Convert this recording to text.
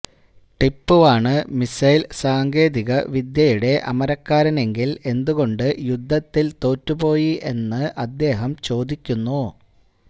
ടിപ്പുവാണ് missile സാങ്കേതിക വിദ്യയുടെ അമരക്കാരനെങ്കില് എന്തുകൊണ്ട് യുദ്ധത്തില് തോറ്റുപോയി എന്ന അദ്ദേഹം ചോദിക്കുന്നു